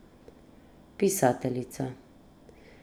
Pisateljica.